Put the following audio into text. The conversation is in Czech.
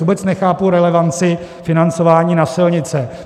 Vůbec nechápu relevanci financování na silnice.